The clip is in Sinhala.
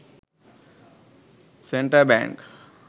central bank